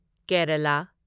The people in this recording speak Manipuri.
ꯀꯦꯔꯥꯂꯥ